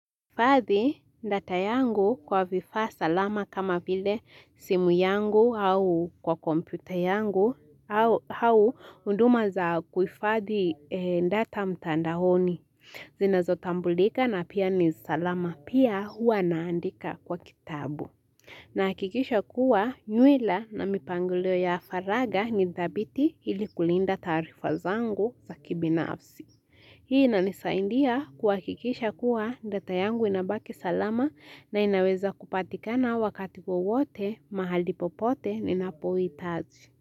Nahifadhi data yangu kwa vifaa salama kama vile simu yangu au kwa kompyuta yangu au huduma za kuhifadhi data mtandaoni. Zinazotambulika na pia ni salama pia huwa naandika kwa kitabu. Nahakikisha kuwa nywila na mipangulio ya faraga ni dhabiti ili kulinda taarifa zangu za kibinafsi. Hii inanisaidia kuhakikisha kuwa data yangu inabaki salama na inaweza kupatikana wakati wowote mahali popote ninapohitaji.